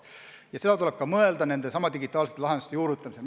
Ja seda tuleb ka arvestada digitaalsete lahenduste juurutamisel.